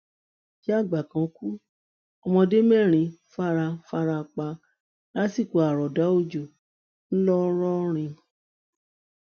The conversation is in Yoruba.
ìyáàgbà kan ku ọmọdé mẹrin fara fara pa lásìkò àròọdá ọjọ ńlọrọrìn